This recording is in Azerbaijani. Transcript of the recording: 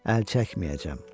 Əl çəkməyəcəm,